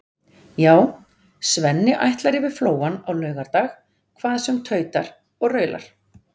Já, Svenni ætlar yfir Flóann á laugardag hvað sem tautar og raular.